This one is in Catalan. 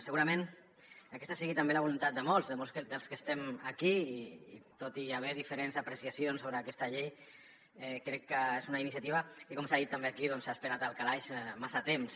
segurament aquesta sigui també la voluntat de molts de molts dels que estem aquí i tot i haver hi diferents apreciacions sobre aquesta llei crec que és una iniciativa que com s’ha dit també aquí s’ha esperat al calaix massa temps